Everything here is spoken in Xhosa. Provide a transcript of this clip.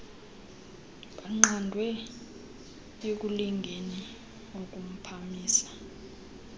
baqandwe ekulingeni ukuphamisa